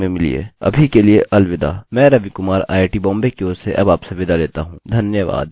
मैं रवि कुमार आईआईटी बॉम्बे की ओर से आपसे विदा लेता हूँ धन्यवाद